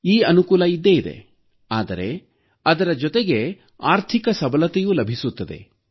ಈ ಅನುಕೂಲ ಇದ್ದೇ ಇದೆ ಆದರೆ ಅದರ ಜೊತೆಗೆ ಆರ್ಥಿಕ ಸಬಲತೆಯೂ ಲಭಿಸುತ್ತದೆ